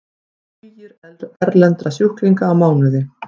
Tugir erlendra sjúklinga á mánuði